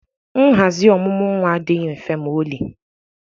nhazi ọmụmụ nwa adịghị mfe ma ọlị